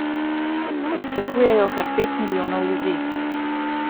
Pričakujejo kar pet milijonov ljudi.